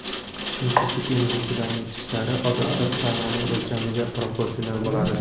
Chunki sut emizuvchilarning tishlari odatda tananing o‘lchamiga proporsional bo‘ladi.